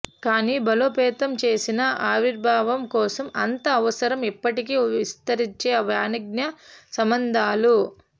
కానీ బలోపేతం చేసిన ఆవిర్భావం కోసం అంత అవసరం ఎప్పటికి విస్తరించే వాణిజ్య సంబంధాలు